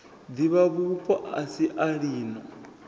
divhavhupo a si a lino